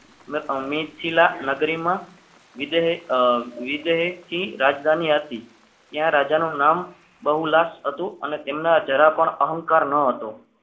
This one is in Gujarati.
ને અમે જિલ્લા નગરીમાં વિજય વિજય ની રાજધાની હતી ત્યાં રાજાનું નામ બહુલાશ હતું અને તેમને જરા પણ અહંકાર ન હતો.